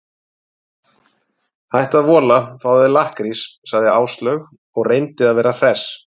Hættu að vola, fáðu þér lakkrís sagði Áslaug og reyndi að vera hress.